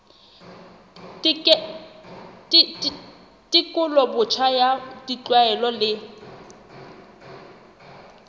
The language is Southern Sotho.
tekolo botjha ya ditlwaelo le